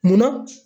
Munna